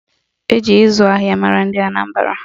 Eji ịzụ ahịa mara ndị Anambara